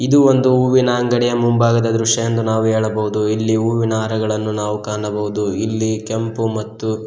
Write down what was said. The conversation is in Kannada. ಇದು ಒಂದು ಹೂವಿನ ಅಂಗಡಿಗೆ ಮುಂಭಾಗದ ದೃಶ್ಯ ಎಂದು ನಾವು ಹೇಳಬಹುದು ಇಲ್ಲಿ ಹೂವಿನ ಹಾರಗಳನ್ನು ನಾವು ಕಾಣಬಹುದು ಇಲ್ಲಿ ಕೆಂಪು ಮತ್ತು.